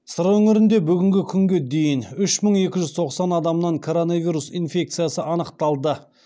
сыр өңірінде бүгінгі күнге дейін үш мың екі жүз тоқсан адамнан коронавирус инфекциясы анықталды